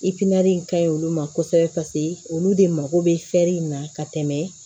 in ka ɲi olu ma kosɛbɛ olu de mako bɛ in na ka tɛmɛ